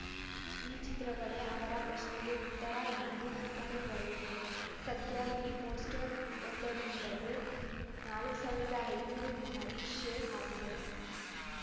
ಈ ಚಿತ್ರಗಳೇ ಅವರ ಪ್ರಶ್ನೆಗೆ ಉತ್ತರ ಎಂದು ಒಕ್ಕಣೆ ಬರೆದಿದೆ ಸದ್ಯ ಈ ಪೋಸ್ಟ್‌ರ್ ವೊಂದರಿಂದಲೇ ನಾಲ್ಕ್ ಸಾವಿರದ ಐನೂರು ಬಾರಿ ಶೇರ್‌ ಆಗಿದೆ